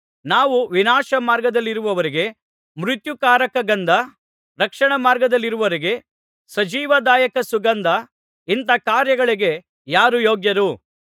ನಾವು ವಿನಾಶಮಾರ್ಗದಲ್ಲಿರುವವರಿಗೆ ಮೃತ್ಯುಕಾರಕ ಗಂಧ ರಕ್ಷಣಾಮಾರ್ಗದಲ್ಲಿರುವವರಿಗೆ ಸಜೀವದಾಯಕ ಸುಗಂಧ ಇಂಥ ಕಾರ್ಯಗಳಿಗೆ ಯಾರು ಯೋಗ್ಯರು